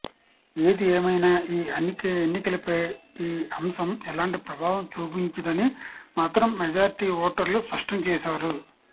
ఏది ఏమైన ఈ ఎన్నికలపై ఈ అంశం ఎలాంటి ప్రభావం చూపించదని మాత్రం మెజారిటీ ఓటర్లు స్పష్టం చేశారు